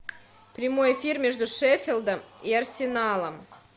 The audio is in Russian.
прямой эфир между шеффилдом и арсеналом